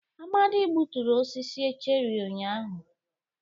Amadi gbuturu osisi cherrị ụnyahụ.